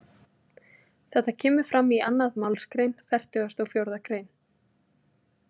Þetta kemur fram í annað málsgrein fertugasta og fjórða grein.